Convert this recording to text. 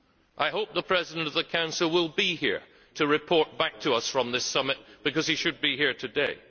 I hope the President of the Council will be here to report back to us from this summit, because he should be here today.